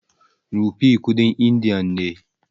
Rupee kuɗin indiya ne.